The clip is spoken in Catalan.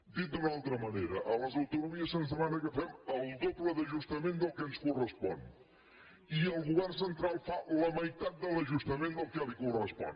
dit d’una altra manera a les autonomies se’ns demana que fem el doble d’ajustament del que ens correspon i el govern central fa la meitat de l’ajustament del que li correspon